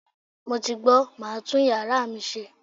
Mo ti gbọ̀, màá tún yàrá mi ṣe.